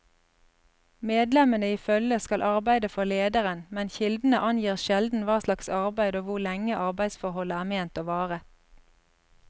Medlemmene i følget skal arbeide for lederen, men kildene angir sjelden hva slags arbeid og hvor lenge arbeidsforholdet er ment å vare.